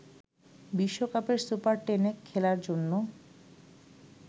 বিশ্বকাপের সুপার টেনে খেলার জন্য